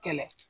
Kɛlɛ